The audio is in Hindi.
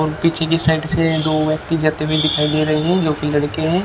पीछे की साइड से दो व्यक्ति जाते हुए दिखाई दे रहे हैं जोकि लड़के हैं।